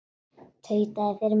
Tautaði fyrir munni sér.